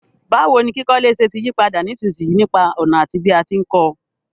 Báwoni kíkọ́lé se ti yípadà nísinsìyí nípa ònà àti bí a ti n ko